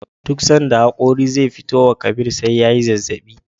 Duk sanda hakori ze fitowa Kabir SE yayi zazzabi